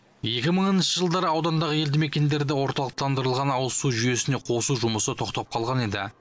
екі мыңыншы жылдары аудандағы елді мекендерді орталықтандырылған ауызсу жүйесіне қосу жұмысы тоқтап қалған еді